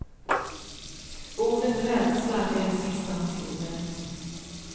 Ordet rädsla är det sista hon skriver.